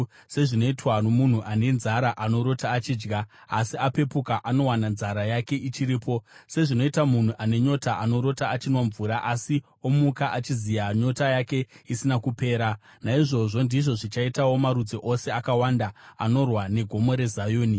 sezvinoitwa nomunhu ane nzara anorota achidya, asi apepuka, anowana nzara yake ichiripo; sezvinoita munhu ane nyota anorota achinwa mvura, asi omuka achiziya, nyota yake isina kupera. Naizvozvo ndizvo zvichaitawo marudzi ose akawanda anorwa neGomo reZioni.